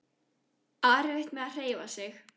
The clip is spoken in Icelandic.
Á erfitt með að hreyfa sig.